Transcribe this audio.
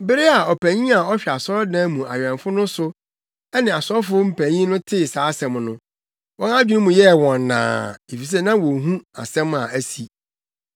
Bere a ɔpanyin a ɔhwɛ asɔredan mu awɛmfo no so ne asɔfo mpanyin no tee saa asɛm no, wɔn adwene mu yɛɛ wɔn naa, efisɛ na wonhu asɛm a asi.